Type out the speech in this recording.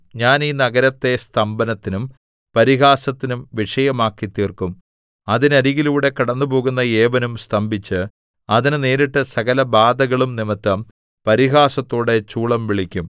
ഞാൻ ഈ നഗരത്തെ സ്തംഭനത്തിനും പരിഹാസത്തിനും വിഷയമാക്കിത്തീർക്കും അതിനരികിലൂടെ കടന്നുപോകുന്ന ഏവനും സ്തംഭിച്ച് അതിന് നേരിട്ട സകലബാധകളും നിമിത്തം പരിഹാസത്തോടെ ചൂളംവിളിക്കും